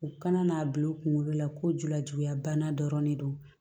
U kana n'a bila u kunkolo la ko julajuguya banna dɔrɔn ne don